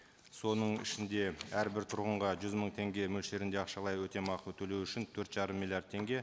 соның ішінде әрбір тұрғынға жүз мың теңге мөлшерінде ақшалай өтемақы төлеу үшін төрт жарым миллиард теңге